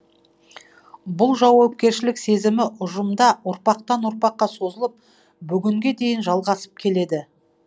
бұл жауапкершілік сезімі ұжымда ұрпақтан ұрпаққа созылып бүгінге дейін жалғасып келеді